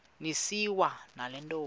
niswa nale ntombi